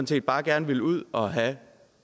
set bare gerne vil ud og have